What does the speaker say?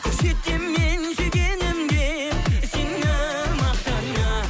көрсетемін мен сүйгенім де сені мақтана